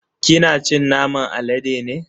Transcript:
Kina cin naman alade ne?